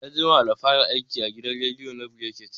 Ya jima da fara aiki da gidan rediyo na brekete